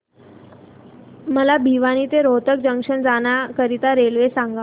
मला भिवानी ते रोहतक जंक्शन जाण्या करीता रेल्वे सांगा